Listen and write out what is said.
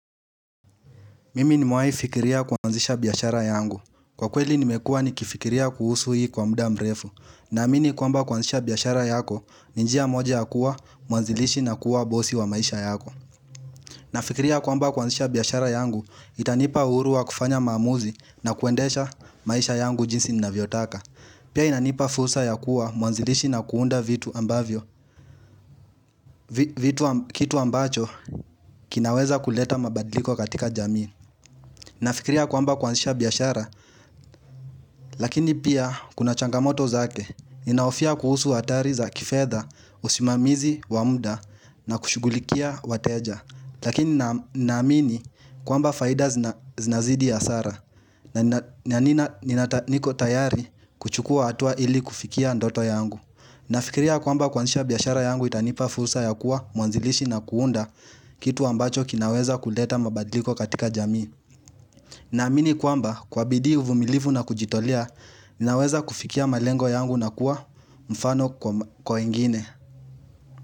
Mimi ni mewai fikiria kuanzisha biashara yangu. Kwa kweli nimekuwa ni kifikiria kuhusu hii kwa muda mrefu. Naamini kwamba kuanzisha biashara yako, ninjia moja ya kuwa, muanzilishi na kuwa bosi wa maisha yako. Na fikiria kwamba kuanzisha biashara yangu, itanipa uhuruwa kufanya maamuzi na kuendesha maisha yangu jinsi nina vyotaka. Pia inanipa fursa ya kuwa muanzilishi na kuunda vitu ambavyo, vitu kitu ambacho kinaweza kuleta mabadliko katika jamii. Nafikiria kwamba kwanzisha biashara, lakini pia kuna changamoto zake, ninahofia kuhusu hatari za kifedha, usimamizi, wamda, na kushugulikia wateja. Lakini naamini kwamba faida zinazidi hasara, na nina niko tayari kuchukua hatua ili kufikia ndoto yangu. Nafikiria kwamba kuanzisha biashara yangu itanipa fursa ya kuwa mwanzilishi na kuunda kitu ambacho kinaweza kuleta mabadiliko katika jamii. Na amini kwamba kwa bidii uvumilivu na kujitolea, ninaweza kufikia malengo yangu na kuwa mfano kwa wengine.